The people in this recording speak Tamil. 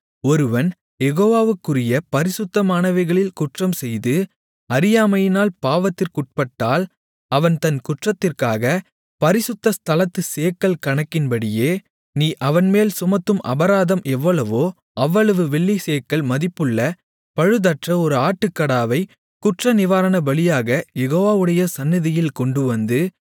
ஒருவன் யெகோவாவுக்குரிய பரிசுத்தமானவைகளில் குற்றம்செய்து அறியாமையினால் பாவத்திற்குட்பட்டால் அவன் தன் குற்றத்திற்காக பரிசுத்த ஸ்தலத்துச் சேக்கல் கணக்கின்படியே நீ அவன்மேல் சுமத்தும் அபராதம் எவ்வளவோ அவ்வளவு வெள்ளிச் சேக்கல் மதிப்புள்ள பழுதற்ற ஒரு ஆட்டுக்கடாவை குற்றநிவாரணபலியாகக் யெகோவாவுடைய சந்நிதியில் கொண்டுவந்து